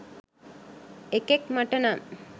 එකෙක් මට නම්